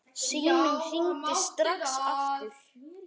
Síminn hringir strax aftur.